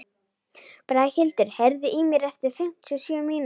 Braghildur, heyrðu í mér eftir fimmtíu og sjö mínútur.